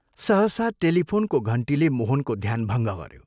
सहसा टेलिफोनको घण्टीले मोहनको ध्यान भङ्ग गऱ्यो।